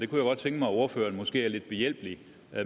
kunne godt tænke mig at ordføreren måske var lidt behjælpelig